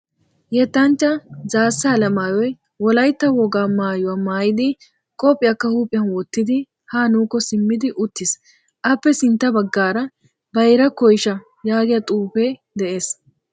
Yettanchchaa zaassa alemaayyoyi wolayitta wogaa maayyuwaa mayyidi qophphiyaakka huuphiyan wottidi ha nuukko siimmidi uttis. Appe sintta baggaara bayira koyisha yaagiyaa xuupede des.